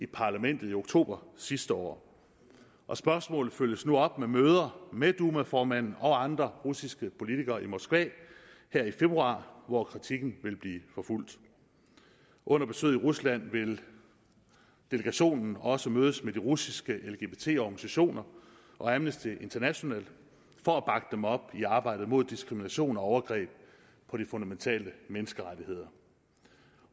parlamentet i oktober sidste år og spørgsmål følges nu op med møder med duma formanden og andre russiske politikere i moskva her i februar hvor kritikken vil blive forfulgt under besøget i rusland vil delegationen også mødes med de russiske lgbt organisationer og amnesty international for at bakke dem op i arbejdet mod diskrimination og overgreb på de fundamentale menneskerettigheder